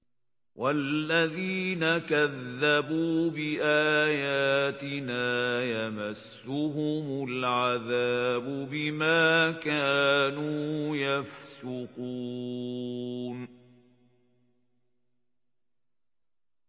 وَالَّذِينَ كَذَّبُوا بِآيَاتِنَا يَمَسُّهُمُ الْعَذَابُ بِمَا كَانُوا يَفْسُقُونَ